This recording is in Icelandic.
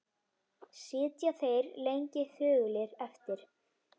Sitja þeir lengi þögulir eftir.